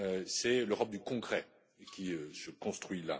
C'est l'Europe du concret qui se construit.